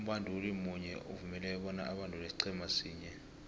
umbanduli munye uvumeleke bona abandule isiqhema sinye